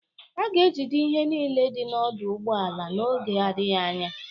A ga-ejide ihe niile dị na ọdụ ụgbọ ala n'oge adịghị anya